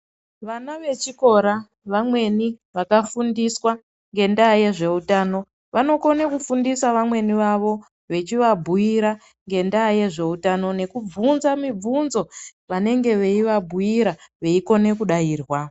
Vana vechikora vamweni vakafundiswa ngenda yezvehutano vanokona kufundisa vamweni vavo vachivabhuira ngenda yezvehutano nekuvhunza mivhunzo vanenge veivabhuira veikone kudairwa.